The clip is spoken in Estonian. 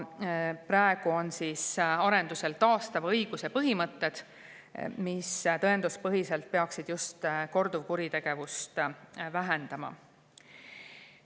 Praegu arendatakse taastava õiguse põhimõtteid, mis tõenduspõhiselt peaksid just korduvkuritegevust vähendama.